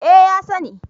Eh, ya sani